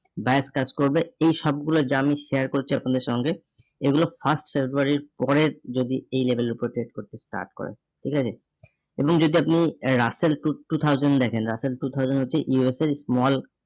buyer touch করবে এই সবগুলো যা আমি share করছি আপনাদের সঙ্গে এগুলো first february রির পরের যদি এই level এর উপর trade করতে start করে ঠিক আছে? এবং যদি আপনি russell to two thousand দেখেন, russell two thousand হচ্ছে USA small